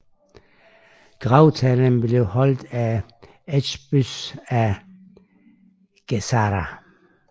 Gravtalen blev holdt af Eusebius af Caesarea